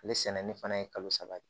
Ale sɛnɛni fana ye kalo saba ye